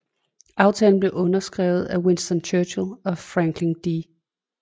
Aftalen blev underskrevet af Winston Churchill og Franklin D